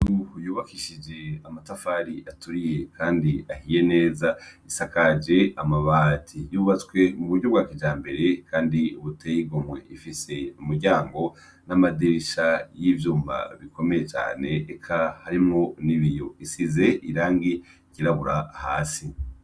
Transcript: Inzu yubakishijwe amatafari aturiye ahiye neza isakaje amabati yubatswe kuburyo bwa kijambere Kandi buteye igomwe umuryango namadirisha nivyuma bikomey cane harimwo nibiyo bisize ryirabura hasi.